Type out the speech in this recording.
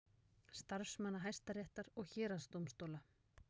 Starfsmanna Hæstaréttar og héraðsdómstóla.